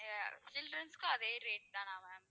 அஹ் childrens க்கும் அதே rate தானா ma'am